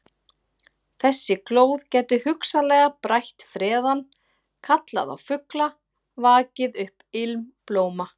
Þessi glóð gæti hugsanlega brætt freðann, kallað á fugla, vakið upp ilm blóma.